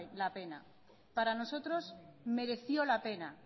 la pena para nosotros mereció la pena